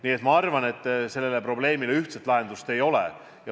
Nii et ma arvan, et sellele probleemile ühtset lahendust ei ole.